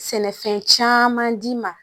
Sɛnɛfɛn caman d'i ma